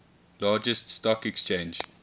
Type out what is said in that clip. largest stock exchange